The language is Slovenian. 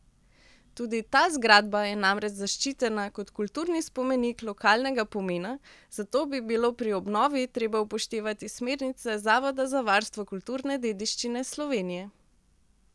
Tudi ta zgradba je namreč zaščitena kot kulturni spomenik lokalnega pomena, zato bi bilo pri obnovi treba upoštevati smernice Zavoda za varstvo kulturne dediščine Slovenije.